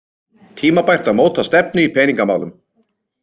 Tímabært að móta stefnu í peningamálum